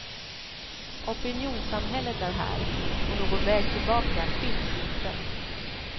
Opinionssamhället är här, och någon väg tillbaka finns inte.